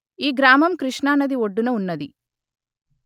ఈ గ్రామం కృష్ణా నది ఒడ్డున వున్నది